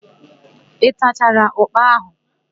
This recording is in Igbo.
Ị tachara ụ́kpà áhụ̀?